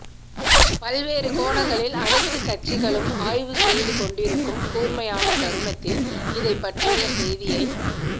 பல்வேறு கோணங்களில் அனைத்துக் கட்சிகளும் ஆய்வு செய்துக் கொண்டிருக்கும் கூர்மையான தருணத்தில் இதைப் பற்றிய செய்தியை